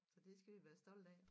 Så det skal vi være stolte af